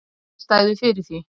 Innistæðu fyrir því!